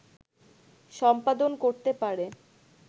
সম্পাদন করতে পারে